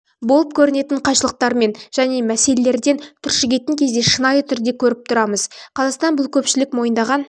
болып көрінетін қайшылықтармен және мәселелермен түршігетін кезде шынайы түрде көріп тұрмыз қазақстан бұл көпшілік мойындаған